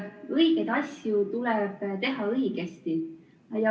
Õigeid asju tuleb teha õigesti.